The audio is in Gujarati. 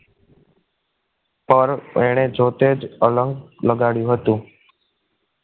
પર એણે જોતે જ અલંગ લગાડ્યું હતું